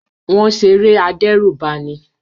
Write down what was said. Wọ́n ṣeré adẹ́rùbani.